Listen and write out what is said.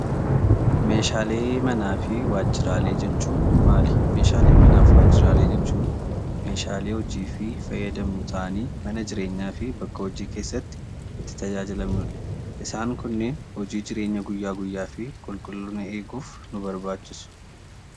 Meeshaalee manaa fi waajjiraalee jechuun maali? Meeshaalee manaa fi waajjiraalee jechuun meeshaalee hojii fi fayyadamnu ta'anii, mana jireenyaa fi bakka hojii keessatti itti tajaajilamnudha. Isaan kunneen hojii jireenya guyyaa guyyaa fi qulqullina eeguuf nu barbaachisu.